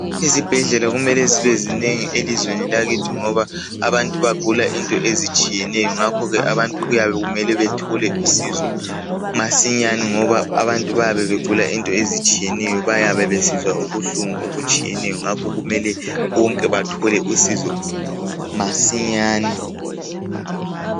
Izibhedlela kumele zibe zinengi elizweni lakithi ngoba abantu bayabe begula izinto ezitshiyeneyo ngakho abantu kuyabe kumele bethole usizo masinyane ngoba abantu bayabe begula izinto ezitshiyeneyo baybesizwa ubuhlungu obutshiyeneyo ngakho bonke kufanele bethole usizo masinyane